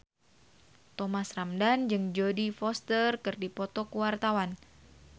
Thomas Ramdhan jeung Jodie Foster keur dipoto ku wartawan